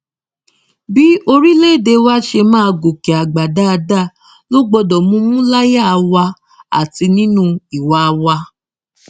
bí orílẹèdè wa ṣe máa gòkè àgbà dáadáa ló gbọdọ mumú láyà wa àti nínú ìwà wa